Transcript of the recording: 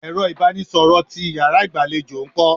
Ẹ̀rọ ibanisoro ti Ìyàrá igbalejo nko?